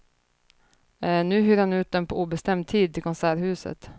Nu hyr han ut dem på obestämd tid till konserthuset.